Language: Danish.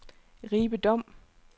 Ribe Dom